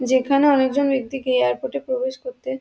যেখানে অনেকজন ব্যক্তি কে এয়ারপোর্ট এ প্রবেশ করতে --